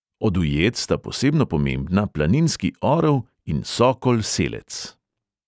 Od ujed sta posebno pomembna planinski orel in sokol selec.